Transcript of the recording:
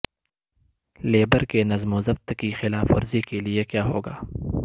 labour کے نظم و ضبط کی خلاف ورزی کے لئے کیا ہو گا